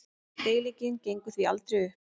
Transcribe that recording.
Deilingin gengur því aldrei upp.